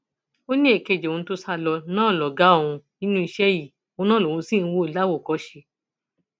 ó ní èkejì òun tó sá lọ náà lọgá òun nínú iṣẹ yìí òun náà lòun sì ń wò láwòkọṣe